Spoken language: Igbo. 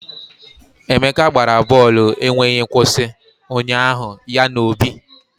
Emeka gbara bọọlụ enweghị nkwụsị ụnyaahụ ya na Obi